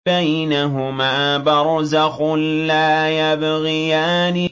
بَيْنَهُمَا بَرْزَخٌ لَّا يَبْغِيَانِ